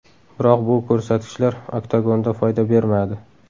Biroq bu ko‘rsatkichlar oktagonda foyda bermadi.